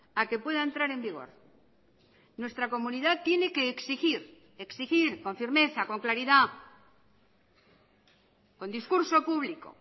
a que pueda entrar en vigor nuestra comunidad tiene que exigir exigir con firmeza con claridad con discurso público